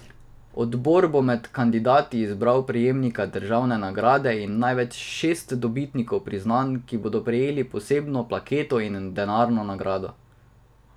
Odbor bo med kandidati izbral prejemnika državne nagrade in največ šest dobitnikov priznanj, ki bodo prejeli posebno plaketo in denarno nagrado.